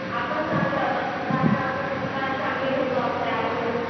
आपण चांगले आहोत कारण आपण संस्कार चांगले घेतो आपल्या आईकडून